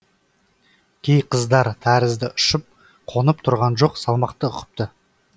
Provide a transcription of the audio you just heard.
кей қыздар тәрізді ұшып қонып тұрған жоқ салмақты ұқыпты